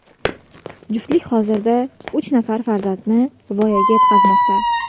Juftlik hozirda uch nafar farzandni voyaga yetkazmoqda.